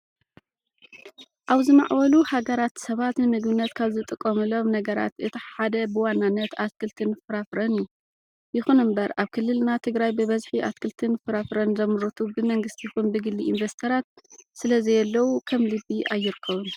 ኣብ ዝማዕበሉ ሃገራት ሰባት ንምግብነት ካብ ዝጥቀምሉም ነገራት እቲ ሓደ ብዋናነት ኣትክልትን ፍራፍረን እዩ። ይኹን እምበር ኣብ ክልልና ትግራይ ብበዝሒ ኣትክልትን ፍራፍረን ዘምርቱ ብመንግስቲ ይኹን ብግሊ ኢንቨስተራት ስለዘየለዉ ከም ልቢ ኣይርከቡን።